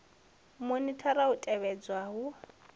u monithara u tevhedzelwa ha